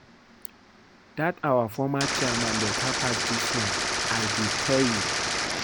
Dat our former chairman beta pass dis one I dey tell you